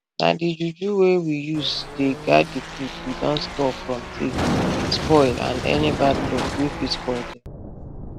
na di juju wey we use dey guard di food we don store from tiff spoil and any bad luck wey fit spoil dem